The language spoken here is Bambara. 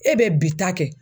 E be bi ta kɛ